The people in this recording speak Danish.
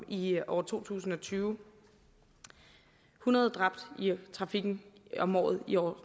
i år to tusind og tyve hundrede dræbte i trafikken om året i år